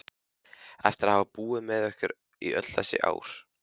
Eftir að hafa búið með ykkur í öll þessi ár?